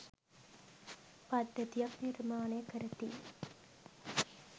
පද්ධතියක් නිර්මාණය කරති